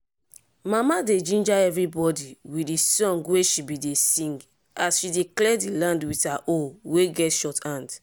mama dey ginger everibodi with di song wey she bin dey sing as she dey clear di land with her hoe wey get short hamd.